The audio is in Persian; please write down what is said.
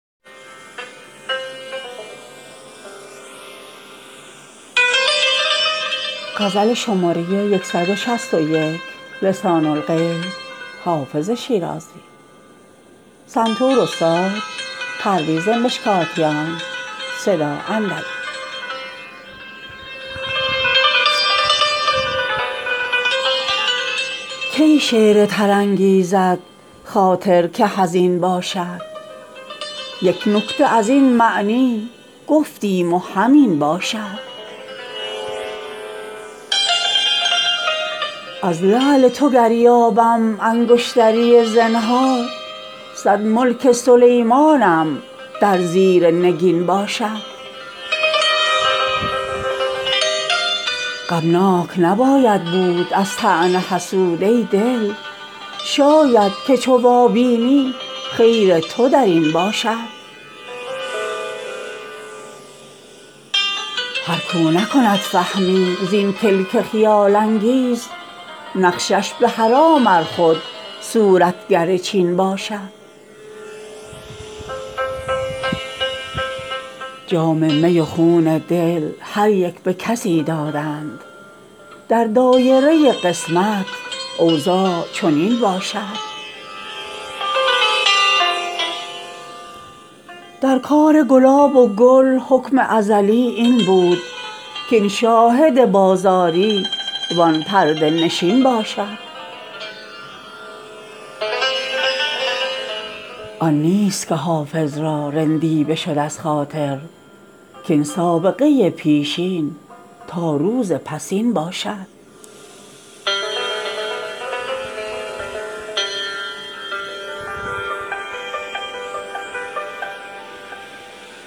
کی شعر تر انگیزد خاطر که حزین باشد یک نکته از این معنی گفتیم و همین باشد از لعل تو گر یابم انگشتری زنهار صد ملک سلیمانم در زیر نگین باشد غمناک نباید بود از طعن حسود ای دل شاید که چو وابینی خیر تو در این باشد هر کاو نکند فهمی زین کلک خیال انگیز نقشش به حرام ار خود صورتگر چین باشد جام می و خون دل هر یک به کسی دادند در دایره قسمت اوضاع چنین باشد در کار گلاب و گل حکم ازلی این بود کاین شاهد بازاری وان پرده نشین باشد آن نیست که حافظ را رندی بشد از خاطر کاین سابقه پیشین تا روز پسین باشد